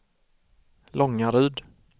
Långaryd